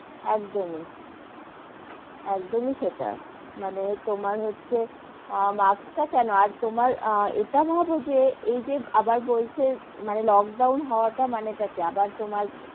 একদমই, একদমই সেটা মানে তোমার হচ্ছে, আহ marks টা কেন আর ইটা ভাবো যে এইযে আবার বলছে মানে লোকডাউন হওয়া টার মানে টা কি মানে আবার তোমার,